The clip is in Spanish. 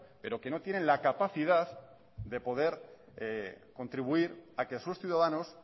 pero que no tienen la capacidad de poder contribuir a que sus ciudadanos